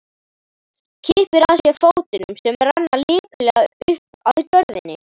Kippir að sér fótunum sem renna lipurlega upp að gjörðinni.